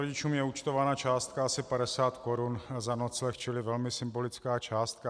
Rodičům je účtována částka asi 50 korun za nocleh, čili velmi symbolická částka.